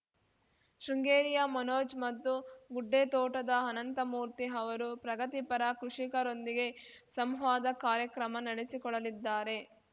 ಶೃಂಗೇರಿಯ ಮನೋಜ್‌ ಮತ್ತು ಗುಡ್ಡೆತೋಟದ ಅನಂತಮೂರ್ತಿ ಅವರು ಪ್ರಗತಿಪರ ಕೃಷಿಕರೊಂದಿಗೆ ಸಂವಾದ ಕಾರ್ಯಕ್ರಮ ನಡೆಸಿಕೊಡಲಿದ್ದಾರೆ